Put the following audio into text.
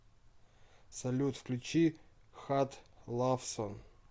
салют включи хад лавсон